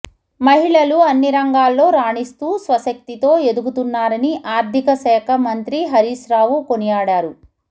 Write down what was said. మహిళలు అన్ని రంగాల్లో రాణిస్తూ స్వశక్తితో ఎదుగుతున్నారని ఆర్థికశాఖ మంత్రి హరీశ్రావు కొనియాడారు